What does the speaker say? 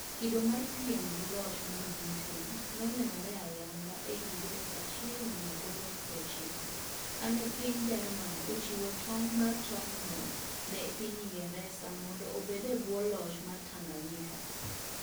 Kido mar piem gi loch mar Britain ne onenore ayanga e higa 1890, kane piny Jerman ochiwo tong' mar tong'no ne piny Ingresa mondo obed e bwo loch mar Tanganyika.